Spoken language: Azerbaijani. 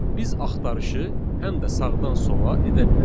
Biz axtarışı həm də sağdan sola edə bilərik.